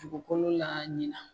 Dugukolo la ɲinan